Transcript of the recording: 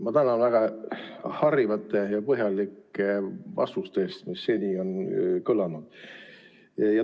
Ma tänan väga harivate ja põhjalike vastuste eest, mis seni on kõlanud!